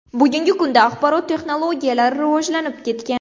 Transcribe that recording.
Bugungi kunda axborot texnologiyalari rivojlanib ketgan.